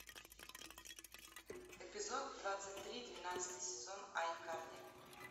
эпизод двадцать три двенадцатый сезон айкарли